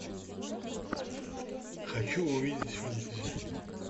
хочу увидеть фэнтези